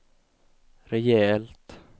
rejält